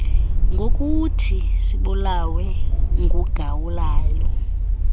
ngokuthi sibulawe ngugawulayo